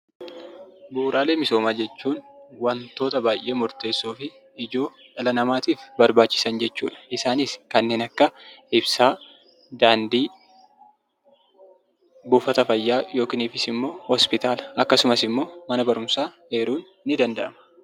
Bu'uuraalee misoomaa jechuun wantoota dhala namattiif barbachisaan murtesoofi ijoo jechuudha. Isaanis kannen akka Ibsaa, Dandii, Bufataa Faayyaa yookiss immoo Hopitaalaa akkasumaas immoo mana baruumsaa eerun ni danda'ama.